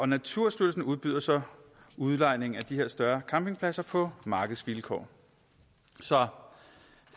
naturstyrelsen udbyder så udlejning af de her større campingpladser på markedsvilkår så